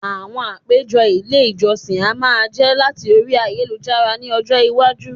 àwọn apeje il ìjósìn a máa je lati Orí ayélujára ní ọjọ iwaju